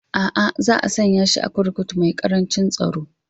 A'a, za a sanya shi a kurkuku mai ƙaran tsaro